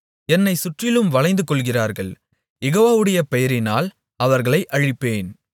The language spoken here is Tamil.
என்னைச் சுற்றிலும் வளைந்து கொள்ளுகிறார்கள் யெகோவாவுடைய பெயரினால் அவர்களை அழிப்பேன்